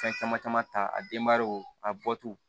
Fɛn caman caman ta a denbayaw a bɔtu